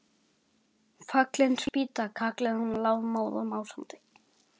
Fallin spýta! kallaði hún lafmóð og másandi.